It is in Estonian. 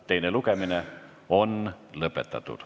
Teine lugemine on lõpetatud.